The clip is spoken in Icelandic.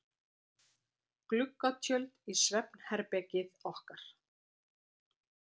Gluggatjöld í svefnherbergið okkar.